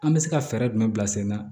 An bɛ se ka fɛɛrɛ jumɛn bila sen na